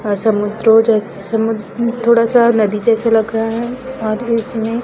अ समुद्रो जैस समु म थोड़ा सा नदी जैसा लग रहा है और इसमे--